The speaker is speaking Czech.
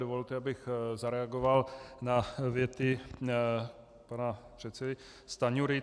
Dovolte, abych zareagoval na věty pana předsedy Stanjury.